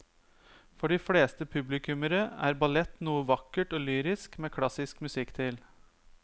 For de fleste publikummere er ballett noe vakkert og lyrisk med klassisk musikk til.